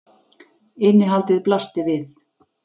Innihaldið blasti við.